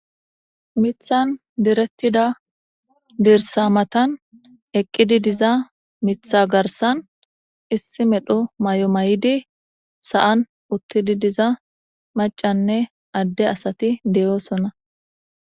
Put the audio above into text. Mithanin diretidi diza dirisa matani eqidi diza mitha garisan ossi medho mayo mayidi sa'ani utidi diza maccane ade asati deyosona